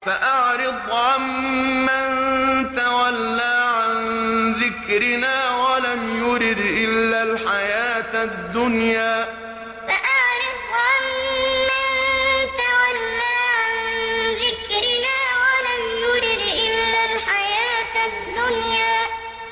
فَأَعْرِضْ عَن مَّن تَوَلَّىٰ عَن ذِكْرِنَا وَلَمْ يُرِدْ إِلَّا الْحَيَاةَ الدُّنْيَا فَأَعْرِضْ عَن مَّن تَوَلَّىٰ عَن ذِكْرِنَا وَلَمْ يُرِدْ إِلَّا الْحَيَاةَ الدُّنْيَا